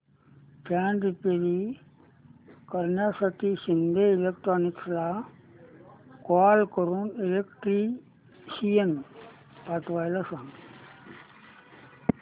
fan repair करण्यासाठी शिंदे इलेक्ट्रॉनिक्सला call करून इलेक्ट्रिशियन पाठवायला सांग